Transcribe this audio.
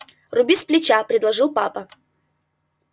руби сплеча предложил папа